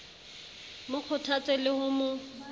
mo kgothatse le ho mo